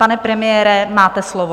Pane premiére, máte slovo.